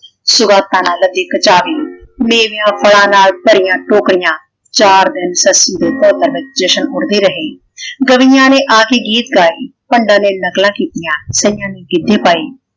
ਸੌਗਾਤਾਂ ਨਾਲ ਲਦੇ ਕਚਾਵੇ। ਮੇਵੇ ਫਲਾਂ ਨਾਲ ਭਰੀਆਂ ਟੋਕਰੀਆਂ। ਚਾਰ ਦਿਨ ਸੱਸੀ ਦੇ ਘਰ ਨਗਰ ਜਸ਼ਨ ਉੱਡਦੇ ਰਹੇ। ਗਲੀਆਂ ਨੇ ਆਕੇ ਗੀਤ ਗਾਏ ਪੰਡਾਂ ਨੇ ਨਕਲਾਂ ਕੀਤੀਆਂ ਕਈਆਂ ਨੇ ਗਿੱਧੇ ਪਾਏ।